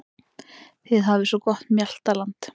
Þið hafið svo gott mjaltaland.